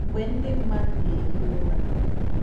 mgbè ndí mmadù nà-èhí ụ̀rà.